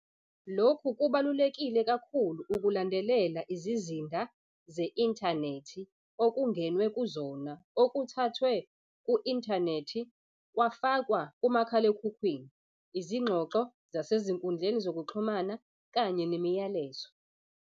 "Lokhu kubalulekile kakhulu ukulandelela izizinda ze-inthanethi okungenwe kuzona, okuthathwe ku-inthanethi kwafakwa kumakhalekhukhwini, izingxoxo zasezinkundleni zokuxhumana kanye nemiyalezo."